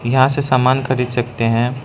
यहां से सामान खरीद सकते हैं।